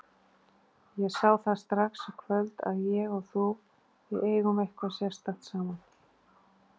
Ég sá það strax í kvöld að ég og þú, við eigum eitthvað sérstakt saman.